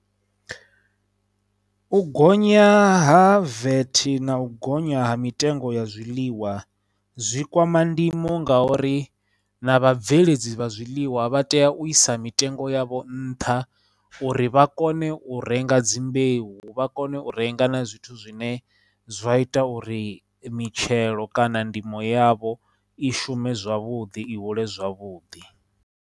U gonya ha vat na u gonya ha mitengo ya zwiḽiwa zwi kwama ndimo ngauri na vha bveledzi vha zwiḽiwa vha tea u isa mitengo ya vho nṱha uri vha kone u renga dzimbeu, vha kone u renga na zwithu zwine zwa ita uri mitshelo kana ndimo yavho i shume zwavhuḓi, i hule zwavhuḓi.